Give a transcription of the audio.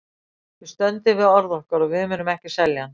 Við stöndum við orð okkar og við munum ekki selja hann.